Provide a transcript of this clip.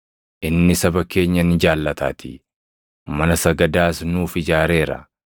inni saba keenya ni jaallataatii; mana sagadaas nuuf ijaareera.”